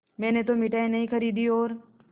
मैंने तो मिठाई नहीं खरीदी और